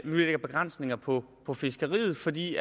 vi lægger begrænsninger på på fiskeriet fordi